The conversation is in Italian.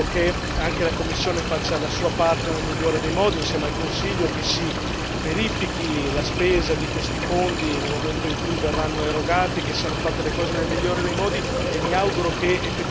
E quindi veramente mi auguro che anche la Commissione faccia la sua parte nel migliore dei modi, insieme al Consiglio, che si verifichi la spesa di questi fondi nel momento in cui verranno erogati, che siano fatte le cose nel migliore dei modi.